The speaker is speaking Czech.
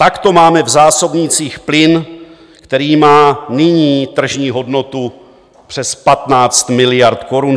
Takto máme v zásobnících plyn, který má nyní tržní hodnotu přes 15 miliard korun.